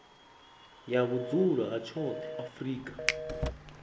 ya vhudzulo ha tshoṱhe afrika